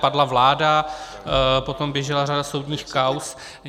Padla vláda, potom běžela řada soudních kauz.